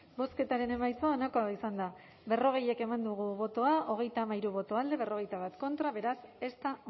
bozketaren emaitza onako izan da berrogei eman dugu bozka hogeita hamairu boto alde cuarenta y uno contra beraz ez da